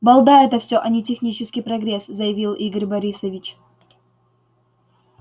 балда это всё а не технический прогресс заявил игорь борисович